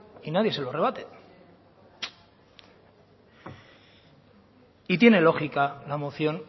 y nadie se lo rebate y tiene lógica la moción